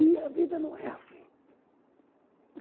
E a vida não é assim.